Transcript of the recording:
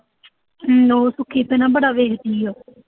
ਬੜਾ ਵੇਖਦੀ ਆ